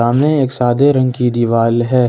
यह एक सादे रंग की दीवाल दीवार है।